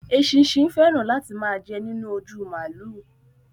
Èṣìsín fẹran láti máa jẹ nínú òjú málù.